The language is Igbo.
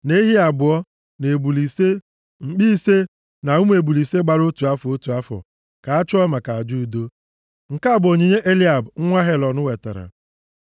na ehi abụọ, na ebule ise, mkpi ise, na ụmụ ebule ise gbara otu afọ, otu afọ, ka a chụọ maka aja udo. Nke a bụ onyinye Eliab nwa Helọn wetara.